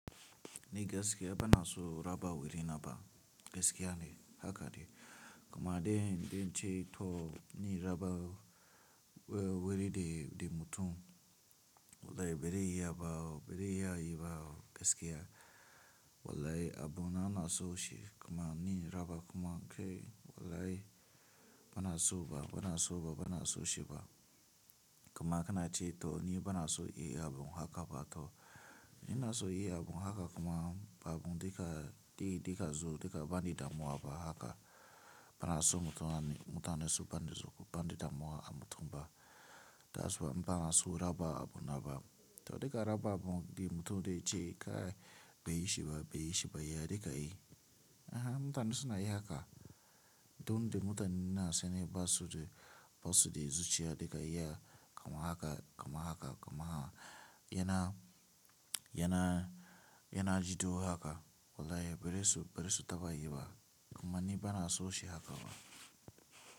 Ni gaskiya bana so raba wuri naba gaskiya ne haka ne. Kuma dai inda ce to ni raba wuri de mutum wallahi bari iya ba, bari iya yi ba gaskiya. Wallahi abunana na so shi kuma ni raba kuma kai wallahi bana so ba, bana so ba, bana so shi ba. Kuma kana ce to ni bana so yi abun haka ba to ni na so yi abun haka kuma babu dika, di dika zo dika bani damuwa ba haka. Bana so mutane su gani damuwa a mutum ba. Tasi ba, bana so raba abuna ba. To duka raba abun di mutum dai ce ka bai shi ba, bai shi ba ya dika yi. Ah mutane suna yi haka. Don da mutane suna sane ba su da, ba su da zuciya dika iya kuma haka kuma haka kuma yana, yana, yana jido haka. Wallahi bari su, bari su taba yi ba kuma ni bana so shi haka ba.